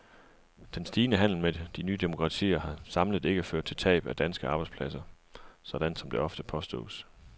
Den stigende handel med de nye demokratier har samlet ikke ført til tab af danske arbejdspladser, sådan som det ofte påstås.